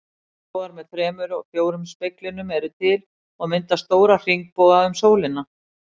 Regnbogar með þremur og fjórum speglunum eru til og mynda stóra hringboga um sólina.